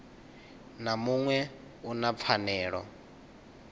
na muṅwe u na pfanelo